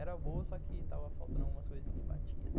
Era boa, só que estava faltando algumas coisinhas e batia e tal.